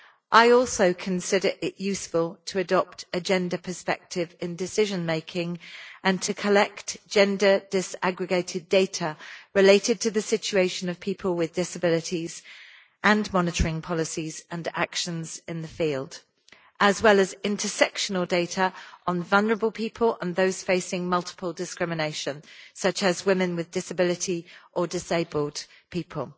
I also consider it useful to adopt a gender perspective in decision making and to collect gender disaggregated data related to the situation of people with disabilities and monitoring policies and actions in the field, as well as intersectional data on vulnerable people and those facing multiple discrimination, such as women with disability or disabled people